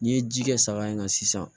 N'i ye ji kɛ saga in kan sisan